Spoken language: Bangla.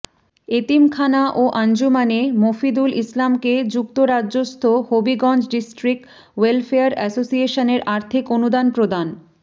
এতিমখানা ও আঞ্জুমানে মফিদুল ইসলামকে যুক্তরাজ্যস্থ হবিগঞ্জ ডিস্ট্রিক্ট ওয়েলফেয়ার এসোসিয়েশনের আর্থিক অনুদান প্রদান